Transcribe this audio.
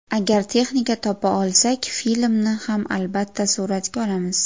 Agar texnika topa olsak, filmni ham albatta suratga olamiz.